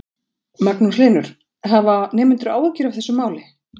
Magnús Hlynur: Hafa nemendur áhyggjur af þessu máli?